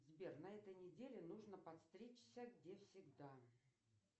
сбер на этой неделе нужно подстричься где всегда